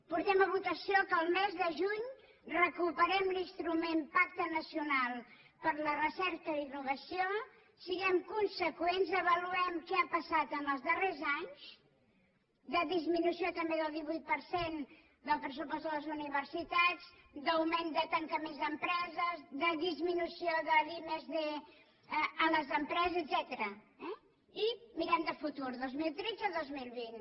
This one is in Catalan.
portem a votació que el mes de juny recuperem l’instrument pacte nacional per a la recerca i innovació siguem conseqüents avaluem què ha passat en els darrers anys de disminució també del divuit per cent del pressupost de les universitats d’augment de tancaments d’empreses de disminució de la i+d a les empreses etcètera eh i mirem cap al futur del dos mil tretze al dos mil vint